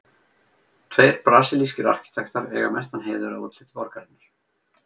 Tveir brasilískir arkitektar eiga mestan heiður að útliti borgarinnar.